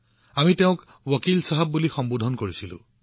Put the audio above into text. আমি তেওঁক ৱকীল চাহেব বুলি সম্বোধন কৰিছিলো